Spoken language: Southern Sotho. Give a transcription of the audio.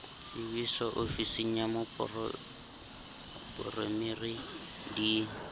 tsebiso ofising ya moporemiri di